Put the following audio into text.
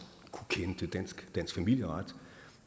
kende til dansk familieret